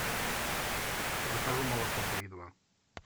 закажи молоко три и два